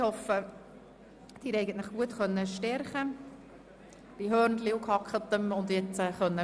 Ich hoffe, dass Sie sich bei Hörnli mit Gehacktem gut gestärkt haben, sodass wir jetzt weiterfahren können.